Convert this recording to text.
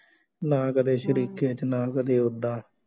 ਨਾ ਕਦੇ ਸ਼ਰੀਕੇ ਚ ਨਾ ਕਦੇ ਉਦਾਂ